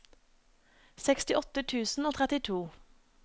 sekstiåtte tusen og trettito